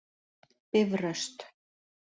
Bifröst